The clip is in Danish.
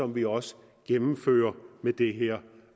vi også gennemfører med det her